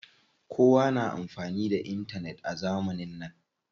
Kowa na amfani da intanet a zamanin nan.